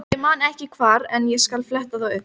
Ég man ekki hvar en ég skal fletta því upp.